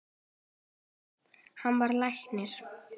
Hann varð læknir.